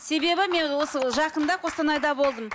себебі мен осы жақында қостанайда болдым